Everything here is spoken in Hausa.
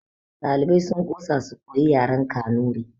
Ɗaliban sun ƙosa su koyi yaren kanuri